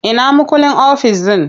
Ina mukullin ofis ɗin?